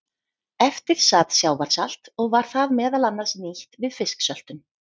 Eftir sat sjávarsalt og var það meðal annars nýtt við fisksöltun.